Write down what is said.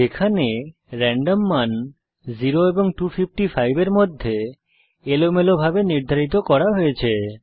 যেখানে রেন্ডম মান 0 এবং 255 এর মধ্যে এলোমেলোভাবে নির্ধারিত করা হয়েছে